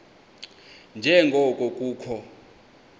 nje ngoko kukho